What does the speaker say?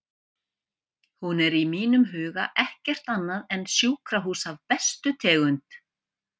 Hún er í mínum huga ekkert annað en sjúkrahús af bestu tegund.